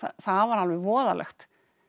það var alveg voðalegt